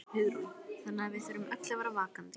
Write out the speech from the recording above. Hugrún: Þannig að við þurfum öll að vera vakandi?